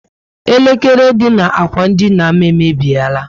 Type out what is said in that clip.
Elekere dị na ákwà dina m emebiela